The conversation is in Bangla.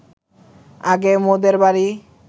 আগে মোদের বাড়ি